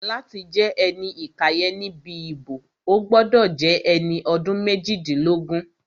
Láti jẹ́ ẹni ìkàyẹ̀ níbi ìbò, o gbọ́dọ̀ jẹ́ ẹni ọdún méjìdínlógún